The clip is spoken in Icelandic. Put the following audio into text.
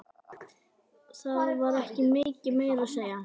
Það var ekki mikið meira að segja.